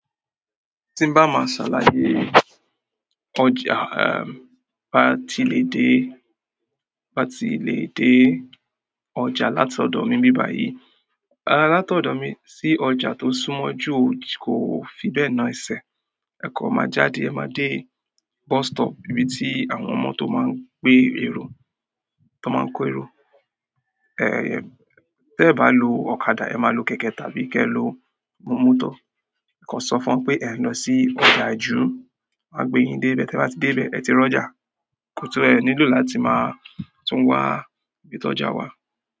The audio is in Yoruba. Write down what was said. Tí ń bá máa ṣálàyé ọjà, eh, bá ti lè dé, bá ti lè dé ọjà látọ̀dọ̀ mi n bí bà yìí, látọ̀dọ̀ mi sí ọjà tó súnmọ́ jú kò fi bẹ́ẹ̀ na ẹsẹ̀. Ẹ kan máa jáde, ẹ máa dé bus stop ibi tí àwọn ọmọ tó máa ń gbé èrò, tó máa ń kó èrò. Eh, tí ẹ bá lo ọ̀kadà, ẹ máa lo kẹ̀kẹ́ tàbí kí ẹ lo mọ́tọ̀. Ẹ kan sọ fún wọn pé ẹ ń lọ sí ọjà ìju, wọ́n máa gbé yín dé ibẹ̀. Tí ẹ bá ti dé ibẹ̀, ẹ ti rọ́jà, kó tó ẹ nílò láti máa tún wá gbé tọ́jà wá.